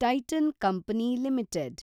Titan company limited